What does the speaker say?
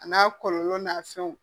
A n'a kɔlɔlɔ n'a fɛnw